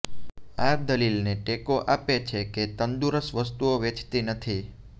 આ દલીલને ટેકો આપે છે કે તંદુરસ્ત વસ્તુઓ વેચતી નથી